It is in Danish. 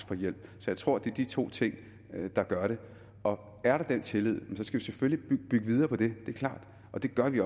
få hjælp så jeg tror det er de to ting der gør det og er der den tillid skal vi selvfølgelig bygge videre på det det er klart og det gør vi